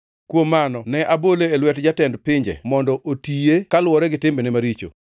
Kuom mano, ne abole e lwet jatend pinje mondo otiye kaluwore gi timbene maricho.